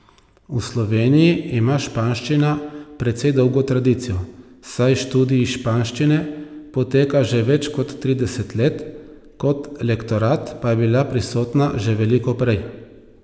V Sloveniji ima španščina precej dolgo tradicijo, saj študij španščine poteka že več kot trideset let, kot lektorat pa je bila prisotna že veliko prej.